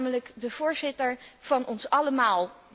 U bent namelijk de voorzitter van ons allemaal.